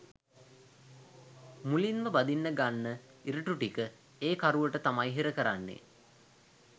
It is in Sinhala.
මුලින්ම බඳින්න ගන්න ඉරටු ටික ඒ කරුවට තමයි හිර කරන්නෙ.